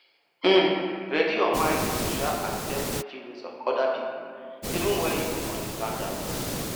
um ready your mind to um accept di um feelings of oda pipo even when you no understand am